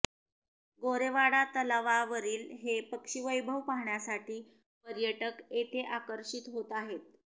गोरेवाडा तलावावरील हे पक्षीवैभव पाहण्यासाठी पर्यटक येथे आकर्षित होत आहेत